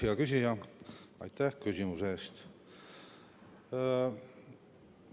Hea küsija, aitäh küsimuse eest!